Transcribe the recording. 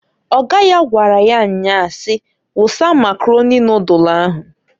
Ọga ya gwara ya nnyaa si, "Wusa Makaroni nodulu ahụǃ